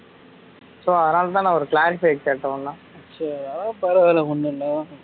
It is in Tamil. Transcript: so அதுனால தான் நான் ஒரு clarify க்கு கேட்டேன் உன்ன சரி அதெல்லாம் பரவா இல்ல ஒன்னும் இல்ல